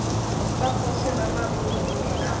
wa kgoši ramarumo mme e